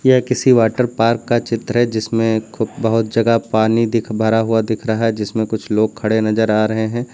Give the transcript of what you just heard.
ये किसी water park का चित्र है जिसमें खूब बहुत जगह पानी दिख भरा हुआ दिख रहा है जिसमें कुछ लोग खड़े नजर आ रहे हैं।